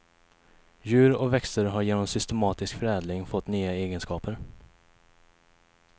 Djur och växter har genom systematisk förädling fått nya egenskaper.